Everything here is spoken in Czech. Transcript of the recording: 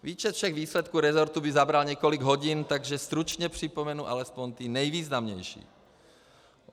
Výčet všech výsledků resortu by zabral několik hodin, takže stručně připomenu alespoň ty nejvýznamnější.